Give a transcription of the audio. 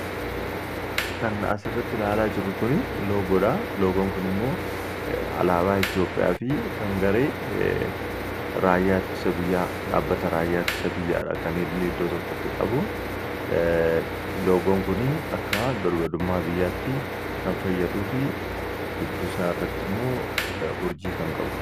Kan asirratti ilaalaa jirru kun Loogodha. Loogoon kun immoo alaabaa Itiyoophiyaafi kan garee raayyaa ittisa biyyaa dhaabbata raayyaa ittisa biyyaadha. Kan inni iddoo tokkotti qabu. Loogoon kuni akka birmadummaa biyyaatti kan fayyaduufi gidduu isaa irratti immoo Urjii kan qabu.